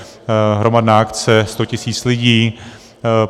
Hromadná akce, 100 tisíc lidí.